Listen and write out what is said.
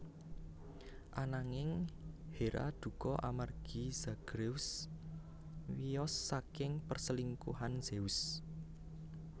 Anangin Hera dukha amargi Zagreus wiyos saking perselingkuhan Zeus